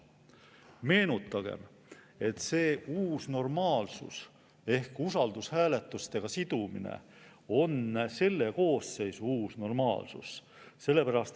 Meenutagem, et see uus normaalsus ehk usaldushääletustega sidumine on selle koosseisu uus normaalsus.